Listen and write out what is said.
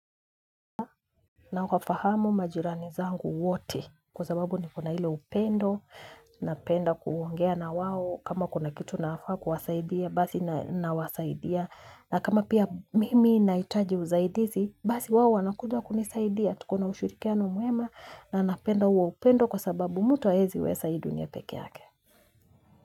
Nawafahamu majirani zangu wote kwa sababu nikona ile upendo, napenda kuongea na wao kama kuna kitu nafaa kuwasaidia basi nawasaidia na kama pia mimi nahitaji usaidizi basi wao wanakuja kunisaidia tukona ushirikiano mwema na napenda huo upendo kwa sababu mtu hawezi weza hii dunia pekee yake.